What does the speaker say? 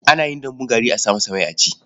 Ana yin dambun gari a sa masa mai a ci.